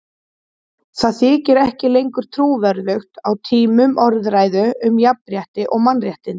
Það þykir ekki lengur trúverðugt á tímum orðræðu um jafnrétti og mannréttindi.